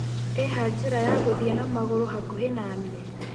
ĩha njĩra ya gũthĩe na magũru hakũhi na nĩe